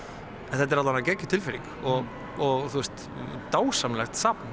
þetta er alla vega geggjuð tilfinning og og dásamlegt safn